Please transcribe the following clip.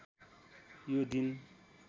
यो दिन